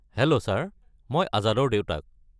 Hello sir, মই আজাদৰ দেউতাক।